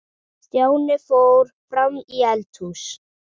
Stjáni fór fram í eldhús.